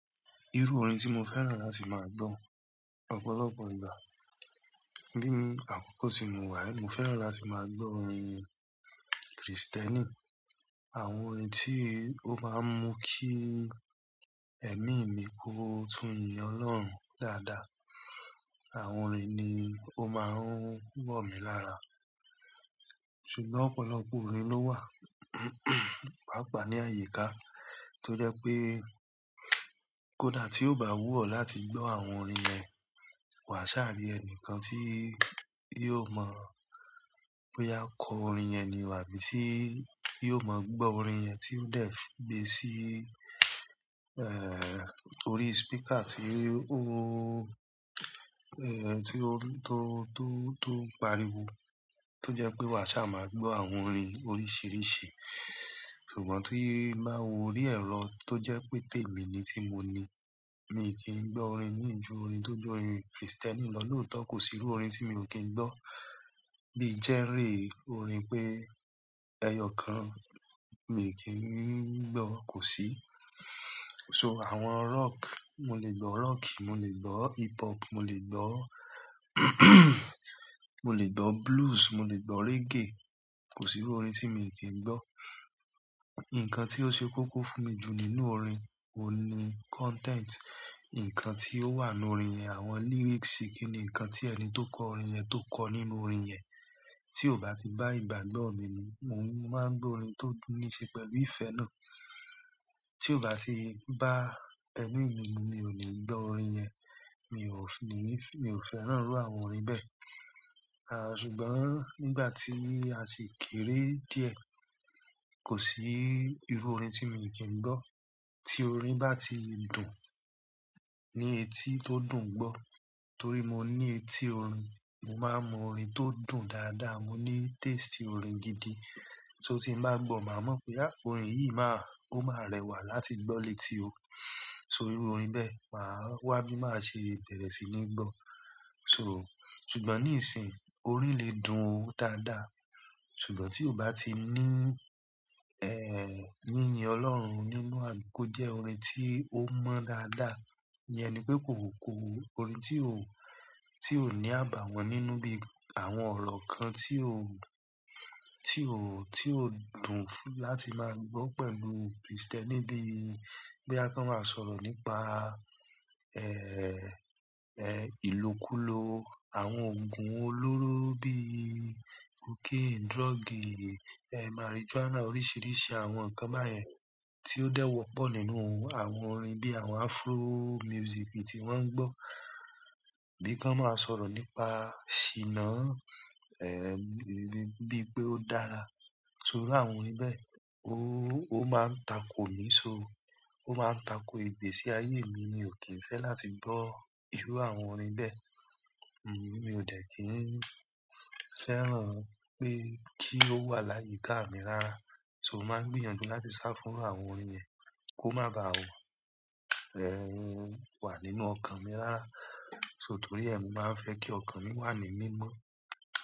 Irú orin tí mo fẹ́ràn láti máa gbọ́, ọ̀pọ̀lọpọ̀ ìgbà, bí àkókò tí mo wà, mo fẹ́ràn láti máa gbọ́ orin Kristẹni. Àwọn orin tí ó máa ń mú kí ẹ̀mí mi kó tún yín Ọlọ́run dáadáa, àwọn orin ni ó máa ń wọ̀ mí lára. Ṣùgbọ́n ọ̀pọ̀lọpọ̀ orin ló wà pàápàá ní àyíká, torí pé kódà tí ó bá wù ọ́ láti gbọ́ àwọn orin yẹn, wà sá à rí ẹni kan tí yóò mọ̀ bóyá kọ orin yẹn ni, wà bí tí yóò mọ̀ gbọ́ orin yẹn tí ó dẹ̀ fi gbé sí orí speaker tí ó tí ó tó, tó, tó ń pariwo. To jẹ pé wà sá máa gbọ́ àwọn orin oríṣìíríṣìí. Ṣùgbọ́n tí bá wo orí ẹ̀rọ tó jẹ́ pé tèmi ni tí mo ní, mi kì í gbọ́ orin mí ju orin tó jẹ́ orin Kristẹni lọ, lóòótọ́ kò sí irú orin tí mi ò kí ń gbọ́. Mí i jẹ́rìí orin pé ẹyọ kan mi ò kí ń gbọ́ kò sí. So àwọn rock, mo lè gbọ́ rock, mo lè gbọ́ hip hop, mo lè gbọ́ mo lè gbọ́ blues, mo lè gbọ́ reggae, kò sí irú orin tí mi ò kí ń gbọ́. Ǹkan tí ó ṣe kókó fún mi ju nínú orin, òun ni content. Ǹkan tí ó wà nínú orin yẹn, àwọn lyrics, kí ni ǹkan tí ẹni tó kọ orin yẹn tó kọ nínú orin yẹn. Tí ó bá ti bá ìgbàgbọ́ mi mu, mo máa gbọ́ orin tó tùn ní ṣe pẹ̀lú ìfẹ́ náà. Tí ó bá ti bá ẹ̀mí mi mu, mi ò ni gbọ́ orin yẹn, mi ò fi-- mi ò fẹ́ràn irú àwọn orin bẹ́ẹ̀. Ṣùgbọ́n nígbàtí aṣi kéré diẹ kò sí irú orin tí mí kìí gbọ tí orin bá ti dùn, ní etí tó dùn gbọ́, torí mo ní etí orin, mo máa mọ orin tó dùn dáadáa. Mo ní taste orin gidi, so ti ń bá gbọ̀, màá mọ̀ pé já orin yìí máa-- ó máa rẹwà láti gbọ́ létí o. So irú orin bẹ́ẹ̀ màá wá bí màá ṣe bẹ̀rẹ̀ sí ní gbọ́. So-- ṣùgbọ́n ní ìsìn orin lè dùn o dáadáa, ṣùgbọ́n tí ó bá ti ní yíyin Ọlọ́run nínú rẹ̀ kó jẹ́ orin tí ó mọ́ dáadáa, iyẹn ni pé kò ko orin tí ó, tí ò ní àbàwọ́n nínú bí àwọn ọ̀rọ̀ kan tí ó, tio tíó dùn láti máa gbọ pẹ̀lú christiani bóyá ki wọn máa sọ̀rọ̀ nípa ilokulo àwọn òògùn olóró bí cocaine, drug, marijuana oríṣìíríṣìí àwọn ǹkan báyẹn tí ó dẹ́wọ́ pọ̀ nínú àwọn orin bí àwọn afro music tí wọ́n ń gbọ́. Bí kí wọ́n máa sọ̀rọ̀ nípa ṣíná bí pé ó dára. So irú àwọn orin bẹ́ẹ̀, ó, ó máa ń tako mi, so ó máa ń tako igbé sí ayé mi. Mi ò kí ń fẹ́ láti gbọ́ irú àwọn orin bẹ́ẹ̀. Mi ò dẹ́ kí ń fẹ́ràn pé kí ó wà láyìíká mi rárá. Mo máa ń gbìyànjú láti sá fún irú àwọn orin yẹn ko má bà wà nínú ọkàn mí rárá. So torí ẹ mi máa fẹ́ kí ọkàn mi wà ní mímọ́.